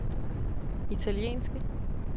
italienske